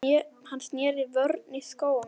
Hann sneri vörn í sókn.